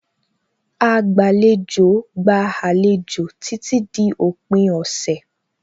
Agbàlejò gba àlejò títí di òpin ọ̀sẹ̀.